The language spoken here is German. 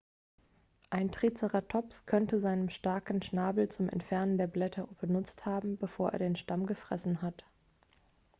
ein triceratops könnte seinen starken schnabel zum entfernen der blätter benutzt haben bevor er den stamm gefressen hat